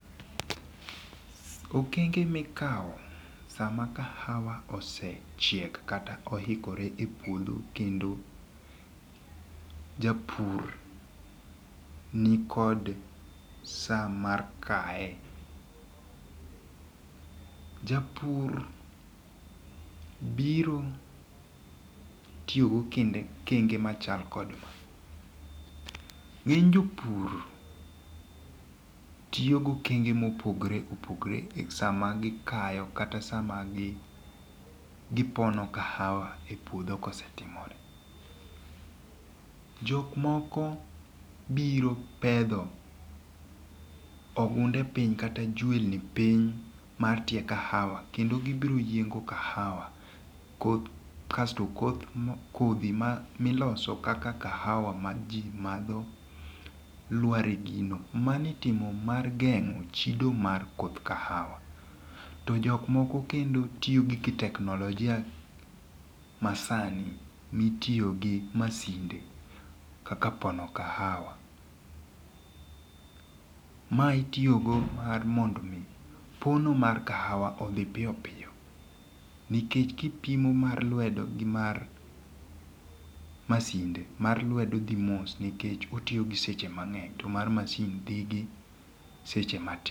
Okenge mikawo sama kahawa osechiek kata oikore e puodho kendo japur nikod saa mar kaye. Japur biro tiyo gokenge machalo kod maa. Ng'eny Jopur tiyo gokenge mopogore opogore e sama gikayo kata sama gipono kahawa e puodho kosetimore. Jok moko biro pedho ogunde piny kata jwelni piny mar tie kahawa kendo gibiro yiengo kahawa kasto kodhi miloso kaka kahawa maji madho lwar e gino. Manitimo mar geng'o chido mar koth kahawa jok moko kendotiyo kod teknolojia masani mitiye gi masinde kaka pono kahawa mae itiyo go mar mondo mi pono mar kahawa odhi piyopiyo nikech kipimo mar lwedo gi mar masinde mar lwedo dhi seche mang'eny to mar masinde dhi gi seche matin.